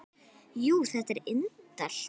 Jú, þetta er indælt